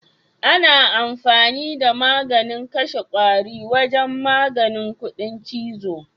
Ana amfani da maganin kashe kwari wajen maganin kuɗin chizo.